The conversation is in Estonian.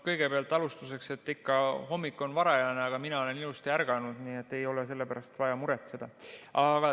Kõigepealt alustuseks, et hommik on küll varajane, aga mina olen ilusti ärganud, nii et ei ole sellepärast vaja muretseda.